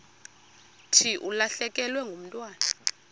thi ulahlekelwe ngumntwana